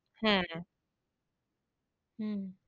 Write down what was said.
হ্যাঁ হম,